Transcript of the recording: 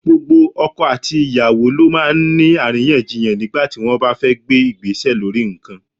Gbogbo ọkọ àti ìyàwó ló máa ń ní àríyànjiyàn nígbà tí wọ́n bá fẹ́ gbé Ìgbésẹ̀ lórí nǹkan.